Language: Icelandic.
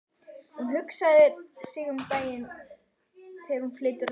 Hún hugsar um daginn sem hún flytur að heiman.